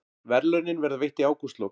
Verðlaunin verða veitt í ágústlok